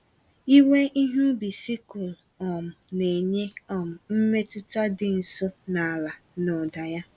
Iwe ihe ubi sikụl um na-enye um mmetụta dị nso na ala na ụda ya.